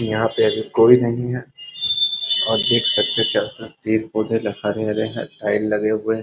यहाँ पे अभी कोई नहीं है और देख सकते है चारो तरफ पेड़-पौधे ल हरे-हरे है टाइल लगे हुए है।